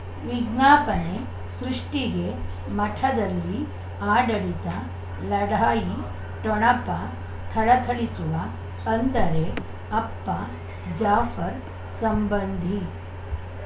ಉಂ ವಿಜ್ಞಾಪನೆ ಸೃಷ್ಟಿಗೆ ಮಠದಲ್ಲಿ ಆಡಳಿತ ಲಢಾಯಿ ಠೊಣಪ ತಳತಳಿಸುವ ಅಂದರೆ ಅಪ್ಪ ಜಾಫರ್ ಸಂಬಂಧಿ